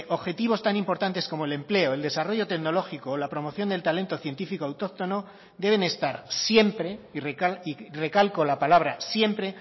objetivos tan importantes como el empleo el desarrollo tecnológico o la promoción del talento científico autóctono deben estar siempre y recalco la palabra siempre